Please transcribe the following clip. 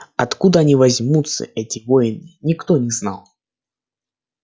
откуда они возьмутся эти воины никто не знал